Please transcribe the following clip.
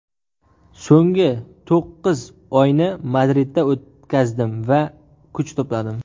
So‘nggi to‘qqiz oyni Madridda o‘tkazdim va kuch to‘pladim.